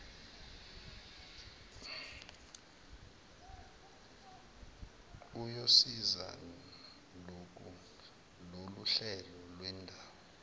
uyosiza loluhlelo lwendawo